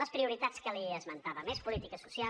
les prioritats que li esmentava més política social